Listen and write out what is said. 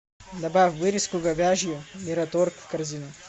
добавь вырезку говяжью мираторг в корзину